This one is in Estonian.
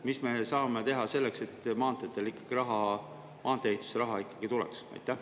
Mida me saame teha selleks, et maanteede ehituse jaoks raha ikkagi tuleks?